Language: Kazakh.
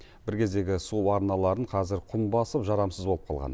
бір кездегі су арналарын қазір құм басып жарамсыз болып қалған